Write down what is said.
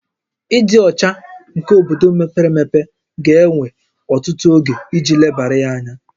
Ịdị ọcha nke obodo mepere emepe ga-ewe ọtụtụ oge iji lebara ya anya